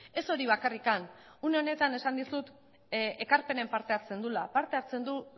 ez hori bakarrik une honetan esan dizut ekarpenen parte hartzen duela parte hartzen du